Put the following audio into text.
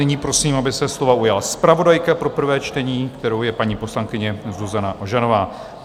Nyní prosím, aby se slova ujala zpravodajka pro prvé čtení, kterou je paní poslankyně Zuzana Ožanová.